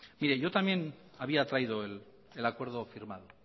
mire yo también había traído el acuerdo firmado